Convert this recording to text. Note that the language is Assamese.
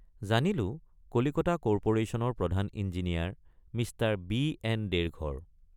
জানিলোঁ কলিকতা কৰ্পোৰেশ্যনৰ প্ৰধান ইঞ্জিনিয়াৰ মিঃ বি.এন.দেৰ ঘৰ।